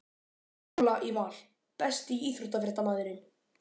Pála í Val Besti íþróttafréttamaðurinn?